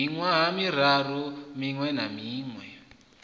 miṅwaha miraru miṅwe na miṅwe